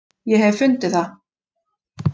Ég hef fundið það!